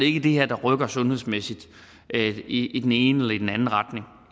ikke det her der rykker sundhedsmæssigt i i den ene eller i den anden retning